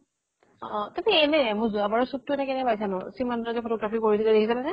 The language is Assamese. অ অ । কিন্তু মোৰ যোৱাবাৰ ৰ shoot টো কেনে পাইছা নো ? সিমন্ত যে photography কৰি দিছিল দেখিছিলা নে ?